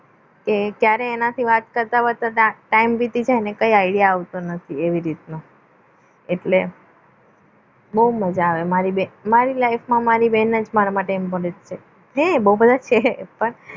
તે ક્યારે એનાથી વાત કરતા કરતા ટાઈમ વીતી જાય idea આવતો નથી કઈ આવતો નથી એવી રીતના એટલે બહુ મજા મારી life બેન મારી બેન જ મદદ છે બહુ બધા છે